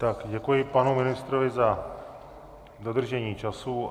Tak děkuji panu ministrovi za dodržení času.